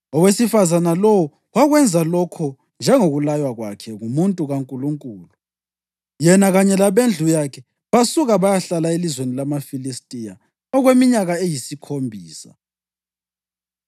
Owesifazane lowo wakwenza lokho njengokulaywa kwakhe ngumuntu kaNkulunkulu. Yena kanye labendlu yakhe basuka bayahlala elizweni lamaFilistiya okweminyaka eyisikhombisa.